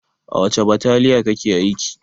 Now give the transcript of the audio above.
A wace bataliya kake aiki?